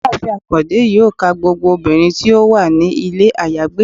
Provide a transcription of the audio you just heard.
Ìyáàfín akande yọọ ka gbogbo obinrín ti o wa ni ilé ayagbe